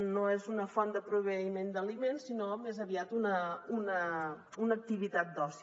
no és una font de proveïment d’aliment sinó més aviat una activitat d’oci